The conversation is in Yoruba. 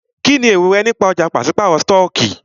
Kínní èrò rẹ nípa ọ̀já pàṣípàrọ̀ stọọkí?